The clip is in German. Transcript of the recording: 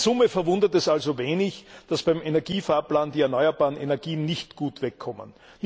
In Summe verwundert es also wenig, dass beim Energiefahrplan die erneuerbaren Energien nicht gut wegkommen.